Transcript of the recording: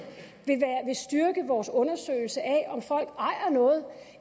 vil styrke vores undersøgelse af om folk ejer noget